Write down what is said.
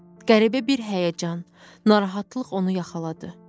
Qəribə bir həyəcan, narahatlıq onu yaxaladı.